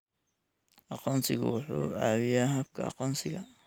Aqoonsigu wuxuu caawiyaa habka aqoonsiga.